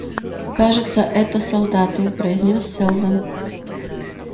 кажется это солдаты произнёс сэлдон